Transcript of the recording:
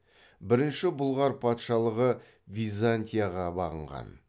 бірінші бұлғар патшалығы византияға бағынған